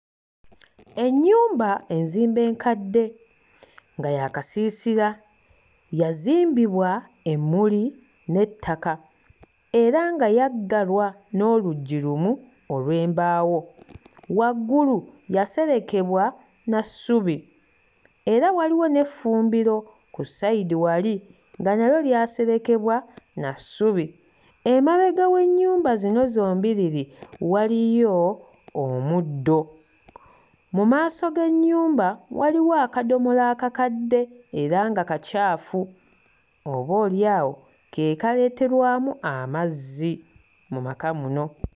Ennyumba enzimba enkadde nga ya kasiisira. Yazimbibwa emmuli n'ettala era nga yaggalwa n'oluggi lumu olw'embaawo. Waggulu yaserekebwa na ssubi era waliwo n'effumbiro ku ssayidi wali nga nalyo lyaserekebwa na ssubi. Emabega w'ennyumba zino zombiriri waliyo omuddo. Mu maaso g'ennyumba waliwo akadomola akakadde era nga kacaafu oboolyawo ke kaleeterwamu amazzi mu maka muno.